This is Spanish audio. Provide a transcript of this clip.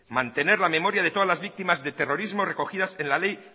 mantener la memoria de todas las víctimas de terrorismo recogidas en la ley